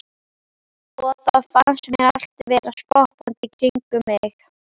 Og þá fannst mér allt vera skoppandi í kringum mig.